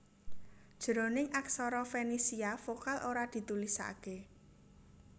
Jroning aksara Fenisia vokal ora ditulisaké